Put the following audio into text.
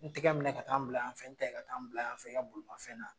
N tɛgɛ minɛ ka taa n bila yan fɛ, n ta ka taa n bila yan fɛ i ka bolima fɛn na